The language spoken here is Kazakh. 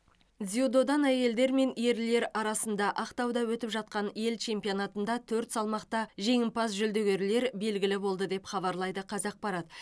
дзюдодан әйелдер мен ерлер арасында ақтауда өтіп жатқан ел чемпионатында төрт салмақта жеңімпаз жүлдегерлер белгілі болды деп хабарлайды қазақпарат